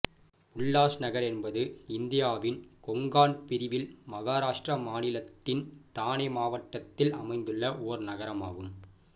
உல்லாஸ்நகர் என்பது இந்தியாவின் கொங்கன் பிரிவில் மகாராஷ்டிரா மாநிலத்தின் தானே மாவட்டத்தில் அமைந்துள்ள ஒரு நகரமாகும்